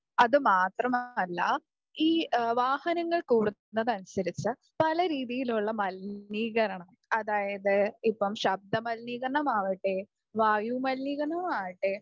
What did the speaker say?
അത് മാത്രമല്ല ഈ വാഹനങ്ങൾ കൂടുന്നതിനനുസരിച്ച് പല രീതിയിലുള്ള മലിനീകരണം അതായത് ഇപ്പം ശബ്ദമലിനീകരണമാവട്ടെ, വായു മലിനീകരണമാവട്ടെ